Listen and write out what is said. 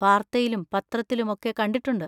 വാർത്തയിലും പത്രത്തിലും ഒക്കെ കണ്ടിട്ടുണ്ട്.